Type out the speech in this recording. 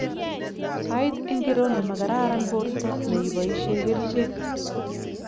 sait ingiro nemagararan porto neipaishe kerichek?